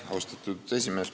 Austatud esimees!